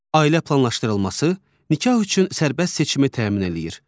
Ailə planlaşdırılması, nikah üçün sərbəst seçimi təmin eləyir.